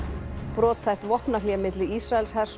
brothætt vopnahlé milli Ísraelshers og